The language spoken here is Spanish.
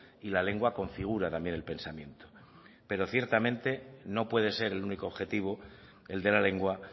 y la lengua configura también el pensamiento pero ciertamente no puede ser el único objetivo el de la lengua